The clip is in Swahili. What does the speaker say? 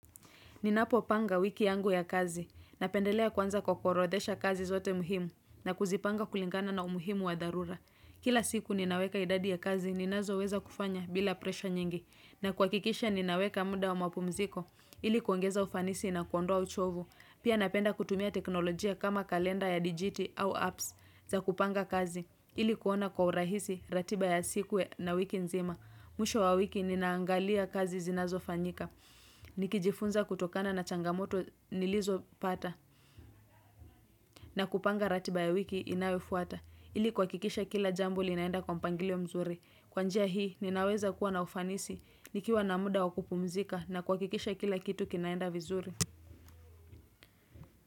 Ninapopanga wiki yangu ya kazi. Napendelea kuanza kwa kuorodhesha kazi zote muhimu na kuzipanga kulingana na umuhimu wa dharura. Kila siku ninaweka idadi ya kazi ninazoweza kufanya bila presha nyingi. Na kuhakikisha ninaweka muda wa mapumziko ili kuongeza ufanisi na kuondoa uchovu. Pia napenda kutumia teknolojia kama kalenda ya digiti au apps za kupanga kazi ili kuona kwa urahisi, ratiba ya siku na wiki nzima. Mwisho wa wiki ninaangalia kazi zinazofanyika Nikijifunza kutokana na changamoto nilizopata na kupanga ratiba ya wiki inayofuata ili kuakikisha kila jambo linaenda kwa mpangilio mzuri Kwa njia hii ninaweza kuwa na ufanisi nikiwa na muda wa kupumzika na kuakikisha kila kitu kinaenda vizuri.